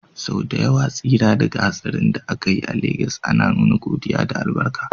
Sau da yawa tsira daga hatsarin da aka yi a Legas ana nuna godiya da albarka.